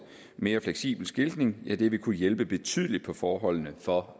mere fleksibel skiltning kunne hjælpe betydeligt på forholdene for